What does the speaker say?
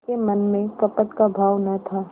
के मन में कपट का भाव न था